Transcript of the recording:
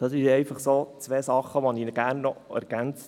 Diese beiden Punkte wollte ich noch ergänzen.